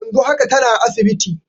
Yanzu haka tana asibiti.